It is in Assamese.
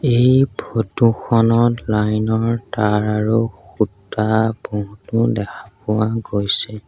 এই ফটোখনত লাইনৰ তাঁৰ আৰু খুঁটা বহুতো দেখা পোৱা গৈছে।